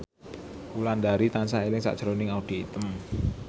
Wulandari tansah eling sakjroning Audy Item